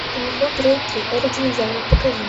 ледниковый период три эра динозавров покажи